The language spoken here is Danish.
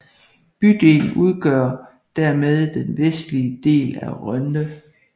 Bydelen udgør dermed den vestlige del af Rønde